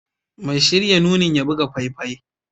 Mai shirya nunin ya buga faifai